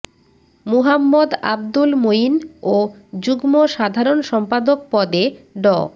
মুহাম্মদ আব্দুল মঈন ও যুগ্ম সাধারণ সম্পাদক পদে ড